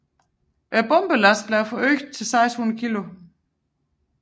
Bombelasten blev forøget til 600 kg